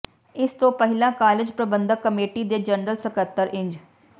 ਇਸ ਤੋਂ ਪਹਿਲਾਂ ਕਾਲਜ ਪ੍ਰਬੰਧਕ ਕਮੇਟੀ ਦੇ ਜਨਰਲ ਸਕੱਤਰ ਇੰਜ